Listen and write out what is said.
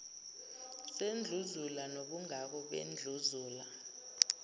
sendluzula nobungako bendluzula